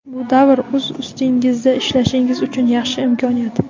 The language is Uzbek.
Bu davr o‘z ustingizda ishlashingiz uchun yaxshi imkoniyat.